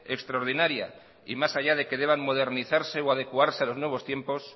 extraordinaria y más allá de que deban modernizarse o adecuarse a los nuevos tiempos